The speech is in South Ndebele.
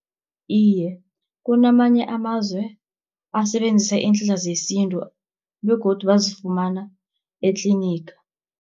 Iye kunamanye amazwe asebenzisa iinhlahla zesintu, begodu bazifumana etliniga.